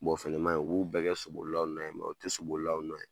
o fɛnɛ maɲɛ u b'u bɛɛ kɛ sobolilaw nɔ ye, u bɛɛ tɛ sobolilaw nɔ ye.